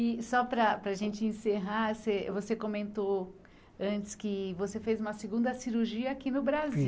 E só para para a gente encerrar, você você comentou antes que você fez uma segunda cirurgia aqui no Brasil.